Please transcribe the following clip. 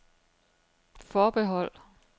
forbehold